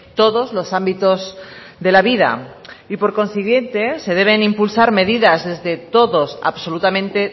todos los ámbitos de la vida y por consiguiente se deben impulsar medidas desde todos absolutamente